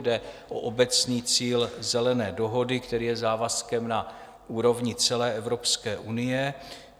Jde o obecný cíl Zelené dohody, který je závazkem na úrovni celé Evropské unie.